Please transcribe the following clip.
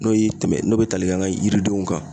N'o ye tɛmɛ n'o be tali kɛ an ka yiridenw kan